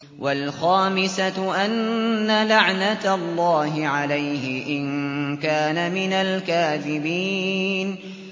وَالْخَامِسَةُ أَنَّ لَعْنَتَ اللَّهِ عَلَيْهِ إِن كَانَ مِنَ الْكَاذِبِينَ